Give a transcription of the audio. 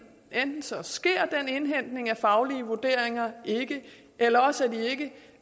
enten så sker den indhentning af faglige vurderinger ikke eller også